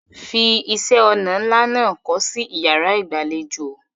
Fi iṣẹ́-ọnà ńlá náà kọ́ sí ìyàrá-ìgbàlejò.